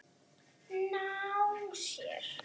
Ná sér?